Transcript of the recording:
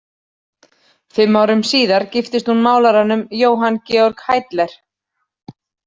Fimm árum síðar giftist hún málaranum Johann Georg Hiedler.